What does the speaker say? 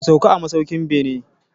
Ku sauka a masaukin beni.